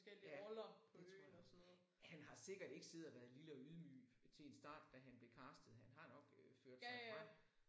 Ja det tror jeg. Han har sikkert ikke siddet og været lille og ydmyg til en start da han blev castet han har nok øh ført sig frem